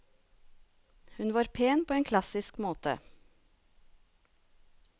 Hun var pen på en klassisk måte.